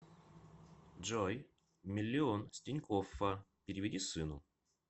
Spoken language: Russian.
джой миллион с тинькоффа переведи сыну